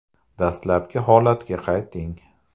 Dastlabki holatga qayting.